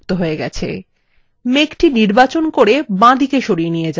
এই মেঘটি নির্বাচন করে বাঁদিকে সরিয়ে নিয়ে যাওয়া যাক